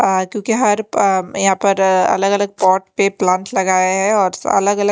आ क्योंकि हर पम्म या पर अ अगल अगल पॉट पे प्लांट लगाये है और अलग अलग--